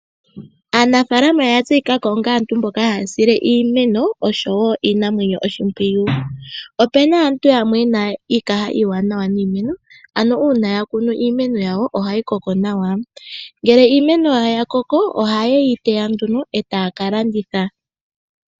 Aanafaalama oya tseyika ko onga aantu mboka haya sile iimeno oshowo iinamwenyo oshimpwiyu. Opuna aantu yamwe yena iikaha iiwanawa niimeno, ano uuna ya kunu iimeno yawo ohayi koko nawa. Ngele iimeno yawo ya koko oha ye yi teya nduno etaya ka landitha.